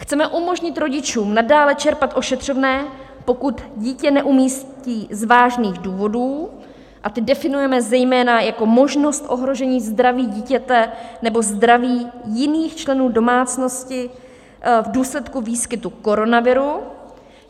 Chceme umožnit rodičům nadále čerpat ošetřovné, pokud dítě neumístí z vážných důvodů, a ty definujeme zejména jako možnost ohrožení zdraví dítěte nebo zdraví jiných členů domácnosti v důsledku výskytu koronaviru.